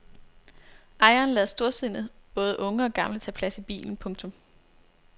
Ejeren lader storsindet både unge og gamle tage plads i bilen. punktum